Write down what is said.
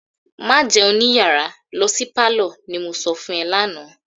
"Má jẹun ní yàrá, lo pálọ̀," ni mo sọ fún ẹ lánàá.